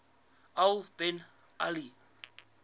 al bin ali